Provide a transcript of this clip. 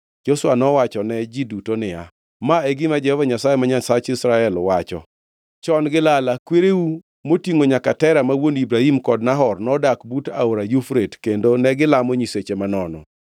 Joshua nowachone ji duto niya, “Ma e gima Jehova Nyasaye, ma Nyasach Israel wacho, Chon gi lala kwereu, motingʼo nyaka Tera ma wuon Ibrahim kod Nahor, nodak but Aora Yufrate kendo negilamo nyiseche manono.